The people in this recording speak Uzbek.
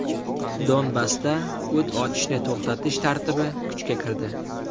Donbassda o‘t ochishni to‘xtatish tartibi kuchga kirdi.